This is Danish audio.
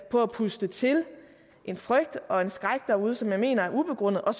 på at puste til en frygt og en skræk derude som jeg mener er ubegrundet og